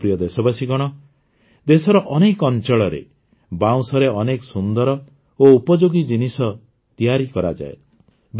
ମୋର ପ୍ରିୟ ଦେଶବାସୀଗଣ ଦେଶର ଅନେକ ଅଞ୍ଚଳରେ ବାଉଁଶରେ ଅନେକ ସୁନ୍ଦର ଓ ଉପଯୋଗୀ ଜିନିଷ ତିଆରି କରାଯାଏ